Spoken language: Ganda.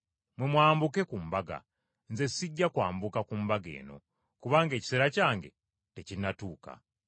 Mmwe mwambuke ku mbaga. Nze sijja kwambuka ku mbaga eno, kubanga ekiseera kyange tekinnatuuka.”